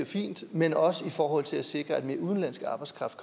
fint men også i forhold til at sikre at der udenlandsk arbejdskraft